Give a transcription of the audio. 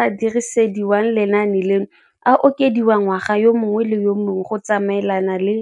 a dirisediwang lenaane leno a okediwa ngwaga yo mongwe le yo mongwe go tsamaelana le